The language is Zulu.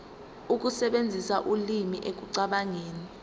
ukusebenzisa ulimi ekucabangeni